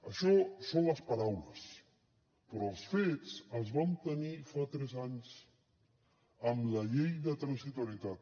això són les paraules però els fets els vam tenir fa tres anys amb la llei de transitorietat